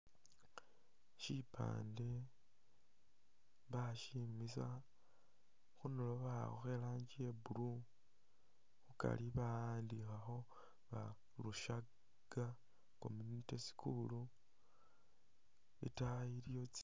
Shipande bashimisa khundulo bakhakho irangi iya'blue khukari bawandikhakho bari rushaga community school , itaayi iliyo tsi